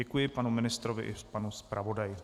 Děkuji panu ministrovi i panu zpravodaji.